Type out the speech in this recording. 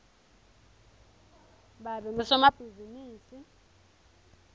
babe ngusomabhizimisi